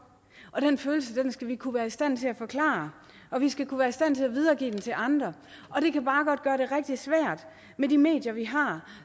og den følelse skal vi kunne være i stand til at forklare og vi skal kunne være i stand til at videregive den til andre og det kan bare godt gøre det rigtig svært med de medier vi har